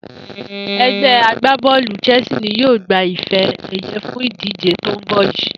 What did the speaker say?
E̩gbé̩ agbábó̩ò̩lù Chelsea ni yóò gba ife è̩ye̩ fún ìdíje tó ń bò̩ yìí